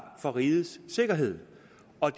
for rigets sikkerhed og